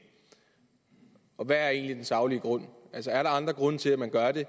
og hvad er egentlig den saglige grund altså er der andre grunde til at man gør det